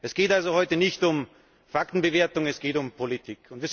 Es geht also heute nicht um Faktenbewertung, es geht um Politik.